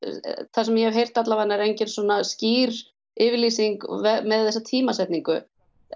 það sem ég hef heyrt allavega er engin svona skýr yfirlýsing með þessa tímasetningu